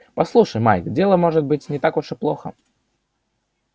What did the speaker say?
послушай майк дело может быть не так уж плохо